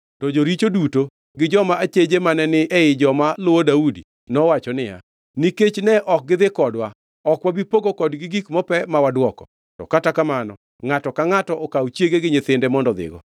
To joricho duto gi joma acheje mane ni ei joma luwo Daudi nowacho niya, “Nikech ne ok gidhi kodwa, ok wabi pogo kodgi gik mope ma wadwoko. To kata kamano ngʼato ka ngʼato okaw chiege gi nyithinde mondo odhigo.”